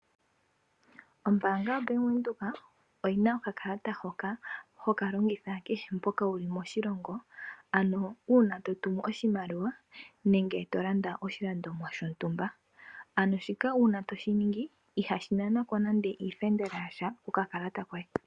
Ombanga yaBank Windhoek oyina okakalata hoka, hokalongithwa kehe mpa wuli moshilongo ano uuna totumu oshimaliwa nenge tolanda oshilandomwa shontumba ano uuna shika toshiningi ihaku nanwa nande iifendela yasha kokalata koye .